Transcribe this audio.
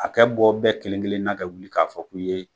A kɛ bɔ bɛɛ kelen-kelenna kɛ wuli k'a fɔ k'u ye